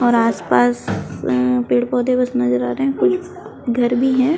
और आसपास अम्म पेड़-पौधे बस नज़र आ रहे है कोई घर भी है।